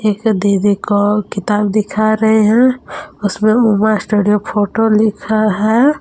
एक दीदी को किताब दिखा रहे हैं उसमें उमा स्टूडियो फोटो लिखा है।